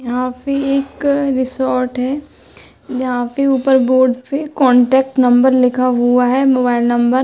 यहाँ पे एक रिसॉर्ट है। यहां पे ऊपर एक बोर्ड पे कान्टैक्ट नंबर लिखा हुआ है मोबाईल नंबर ।